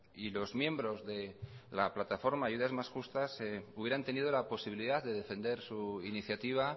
y los miembros de la plataforma ayudas más justas hubieran tenido la posibilidad de defender su iniciativa